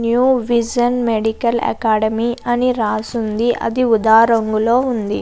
New Vision Medical Academy అని రాసుంది అది వుదా రంగులో ఉంది.